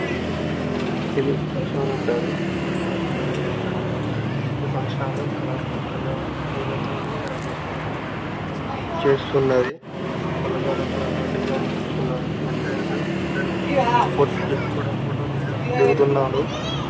ఇది function hall అంటారు. Function hall చాలా పెద్దగా ఉంది. ఈ ఫంక్షన్ హాల్ కలర్ ఫుల్ గా పూలతోని రకరకాల చేస్తున్నది. పూలతోనే రకరకాల డిజైన్ లు చేసి ఉన్నవి. ఇది ఎంట్రెన్స్ . ఫోటో లు దిగుతున్నారు.